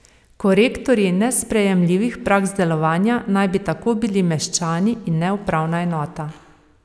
Korektorji nesprejemljivih praks delovanja naj bi tako bili meščani in ne upravna enota.